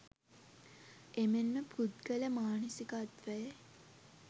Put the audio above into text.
එමෙන්ම පුද්ගල මානසිකත්වයේ